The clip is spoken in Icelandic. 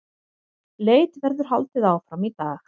Leit verður haldið áfram í dag